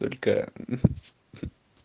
только